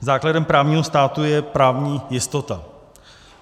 Základem právního státu je právní jistota.